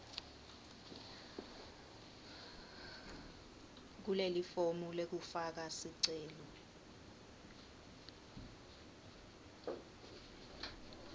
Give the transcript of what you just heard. kulelifomu lekufaka sicelo